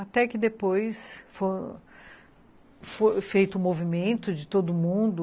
Até que depois foi foi feito o movimento de todo mundo